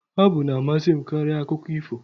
Abụ na-amasị m karịa akụkọ ifo